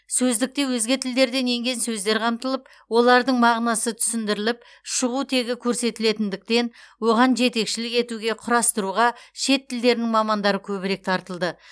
сөздікте өзге тілдерден енген сөздер қамтылып олардың мағынасы түсіндіріліп шығу тегі көрсетілетіндіктен оған жетекшілік етуге құрастыруға шет тілдерінің мамандары көбірек тартылды